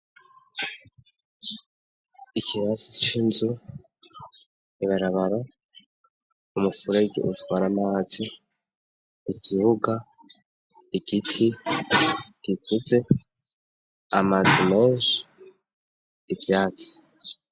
Ikirazi c'inzu ibarabara umufurerge ujwara amazi igibuga igiti gikuze amazanose ivyatzi.